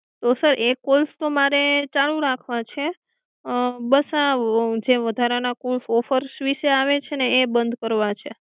તો એ કોલ્સ તો મારે ચાલુ રાખવા છે બસ આ જે વધારા ના કોલ્સ ઑફર્સ વિષે આવે છે એ બંધ કરવા છે